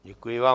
Děkuji vám.